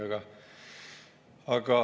Aga veel kord …